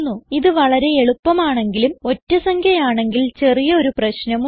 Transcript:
ഇത് വളരെ എളുപ്പമാണെങ്കിലും ഒറ്റ സംഖ്യ ആണെങ്കിൽ ചെറിയ ഒരു പ്രശ്നം ഉണ്ട്